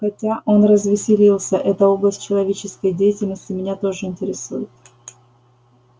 хотя он развеселился эта область человеческой деятельности меня тоже интересует